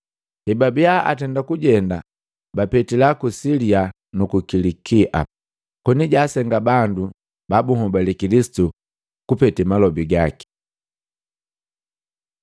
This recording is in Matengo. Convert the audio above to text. Hebabia atenda kujenda bapetila ku Silia nuku Kilikia, koni jaasenga bandu ba bunhobale Kilisitu kupete malobi gaki.